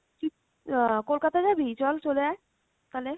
আহ কলকাতা যাবি? চল চলে আয় তালে?